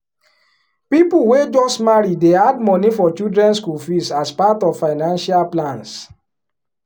people wey just marry dey add money for children school fees as part of financial plans.